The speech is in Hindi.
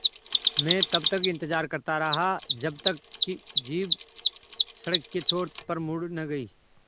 मैं तब तक इंतज़ार करता रहा जब तक कि जीप सड़क के छोर पर मुड़ न गई